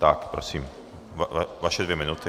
Tak prosím, vaše dvě minuty.